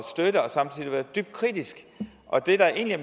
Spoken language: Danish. samtidig være dybt kritiske